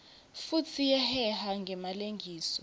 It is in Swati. futsi iyaheha ngemalengiso